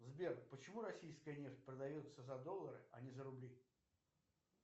сбер почему российская нефть продается за доллары а не за рубли